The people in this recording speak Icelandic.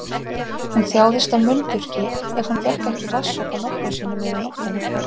Hún þjáðist af munnþurrki ef hún fékk ekki vatnssopa nokkrum sinnum yfir nóttina.